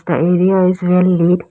The area is well lit.